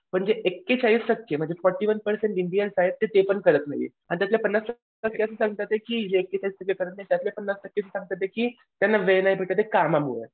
म्हणजे एकेचाळीस टक्के फोर्टी वन पर्सेंट इंडियन्स तर ते पण करत नाहीत. आणि त्यातले असे सांगतात आहेत की जे एकेचाळीस त्यातले पन्नास टक्के सांगतात येत की त्यांना वेळ नाही भेटत ये कामामुळे